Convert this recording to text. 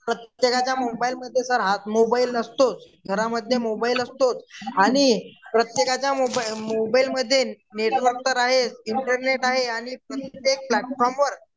प्रत्येकाच्या मोबाईलमध्ये sir mobile असतोच घरामध्ये मोबाईल असतोच आणि प्रत्येकाच्या मोबाईलमध्ये नेटवर्क इंटरनेट आहे आणि प्लॅटफॉर्मवर